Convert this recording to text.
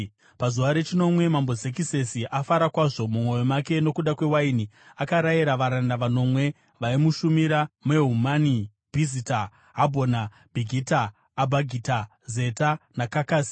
Pazuva rechinomwe, Mambo Zekisesi afara kwazvo mumwoyo make nokuda kwewaini, akarayira varanda vanomwe vaimushumira, Mehumani, Bhizita, Habhona, Bhigita, Abhagita, Zeta naKakasi,